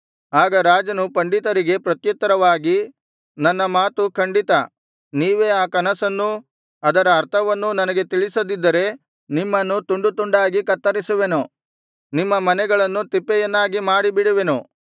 ಆಗ ರಾಜನು ಪಂಡಿತರಿಗೆ ಪ್ರತ್ಯುತ್ತರವಾಗಿ ನನ್ನ ಮಾತು ಖಂಡಿತ ನೀವೇ ಆ ಕನಸನ್ನೂ ಅದರ ಅರ್ಥವನ್ನೂ ನನಗೆ ತಿಳಿಸದಿದ್ದರೆ ನಿಮ್ಮನ್ನು ತುಂಡುತುಂಡಾಗಿ ಕತ್ತರಿಸುವೆನು ನಿಮ್ಮ ಮನೆಗಳನ್ನು ತಿಪ್ಪೆಯನ್ನಾಗಿ ಮಾಡಿಬಿಡುವೆನು